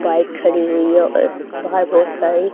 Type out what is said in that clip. bike खड़ी हुई है और बाहर बहुत सारी--